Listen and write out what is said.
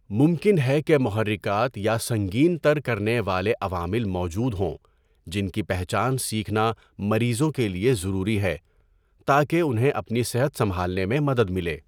ممکن ہے کہ محرکات یا سنگین تر کرنے والے عوامل موجود ہوں جن کی پہچان سیکھنا مریضوں کے لیے ضروری ہے تاکہ انہیں اپنی صحت سمبھالنے میں مدد ملے۔